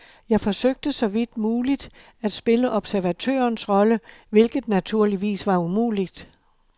Jeg forsøgte så vidt muligt at spille observatørens rolle, hvilket naturligvis var umuligt.